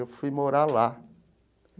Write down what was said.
Eu fui morar lá.